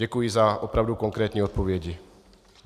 Děkuji za opravdu konkrétní odpovědi.